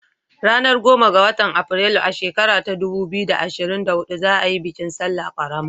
Ranar goma ga watan Afrilu, a shekara ta dubu biyu da ashrin da hudu za a yi bikin salla ƙarama